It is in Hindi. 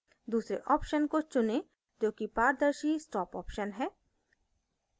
दूसरे option को चुनें जो कि पारदर्शी stop option है